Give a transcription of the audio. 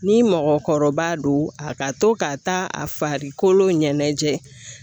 Ni mɔgɔkɔrɔba don a ka to ka taa a farikolo ɲɛnɛjɛ